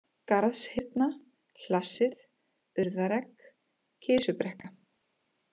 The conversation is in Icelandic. Garðshyrna, Hlassið, Urðaregg, Kisubrekka